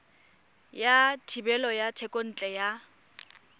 sa thebolo ya thekontle ya